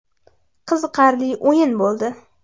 Qiziqarli o‘yin bo‘ldi.